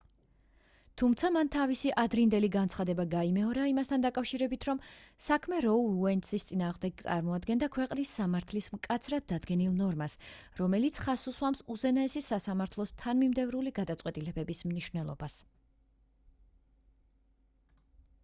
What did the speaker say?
თუმცა მან თავისი ადრინდელი განცხადება გაიმეორა იმასთან დაკავშირებით რომ საქმე როუ უეიდის წინააღმდეგ წარმოადგენდა ქვეყნის სამართლის მკაცრად დადგენილ ნორმას რომელიც ხაზს უსვამს უზენაესი სასამართლოს თანმიმდევრული გადაწყვეტილებების მნიშვნელობას